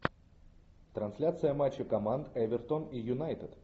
трансляция матча команд эвертон и юнайтед